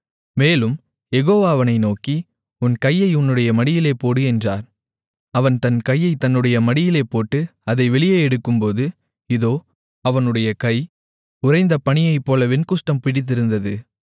மேலும் யெகோவா அவனை நோக்கி உன் கையை உன்னுடைய மடியிலே போடு என்றார் அவன் தன் கையைத் தன்னுடைய மடியிலே போட்டு அதை வெளியே எடுக்கும்போது இதோ அவனுடைய கை உறைந்த பனியைப்போல வெண்குஷ்டம் பிடித்திருந்தது